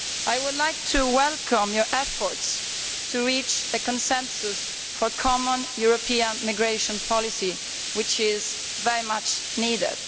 I would like to welcome his efforts to reach a consensus for a common European migration policy, which is very much needed.